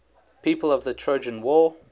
people of the trojan war